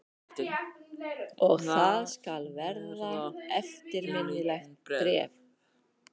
Og það skal verða eftirminnilegt bréf.